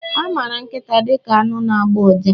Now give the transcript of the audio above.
A maara nkịta dị ka anụ na-agbọ ụja.